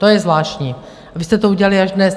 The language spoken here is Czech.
To je zvláštní, vy jste to udělali až dnes.